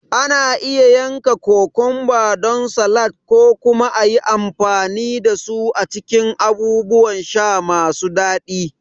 Ana iya yanka kokumba don salad ko kuma a yi amfani da su a cikin abubuwan sha masu daɗi.